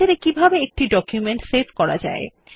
Writer এ কিভাবে একটি ডকুমেন্ট সেভ করা যায়